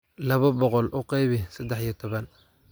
laba boqol u qaybi saddex iyo toban